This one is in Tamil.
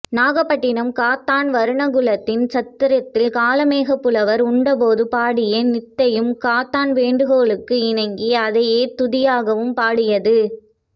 நாகைப்பட்டினம் காத்தான் வருணகுலாதித்தன் சத்திரத்தில் காளமேகப்புலவர் உண்டபோது பாடிய நிந்தையும் காத்தான் வேண்டுகோளுக்கு இணங்கி அதையே துதியாகவும் பாடியது